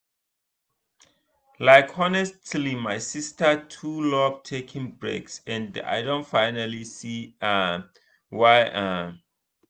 like honestly my sister too love taking breaks and i don finally see um why. um